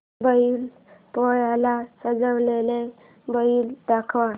बैल पोळ्याला सजवलेला बैल दाखव